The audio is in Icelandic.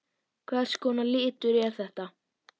Hvers konar litur er þetta?